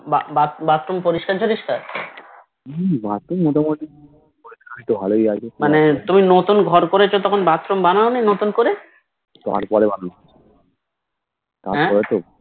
Bathroom পরিষ্কার টরিষকার মানে তুমি নতিংহর করেছি তখন Bathroom বানাও নি নতুন করে